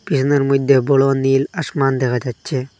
পিসোনের মইদ্যে বড় নীল আশমান দেখা যাচ্ছে।